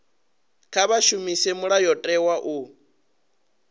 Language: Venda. kha vha shumise mulayotewa u